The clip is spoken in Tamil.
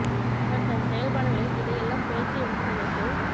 அவர் தன் செயல் பாடுகளில் இதை எல்லாம் புரட்சி என்று நினைத்தோ